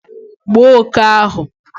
gbuo oke ahụ!